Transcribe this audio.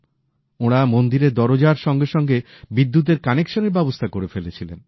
ওঁরা মন্দিরের দরজার সঙ্গে সঙ্গে বিদ্যুতের কানেক্সনের ব্যবস্থা করে ফেলেছিলেন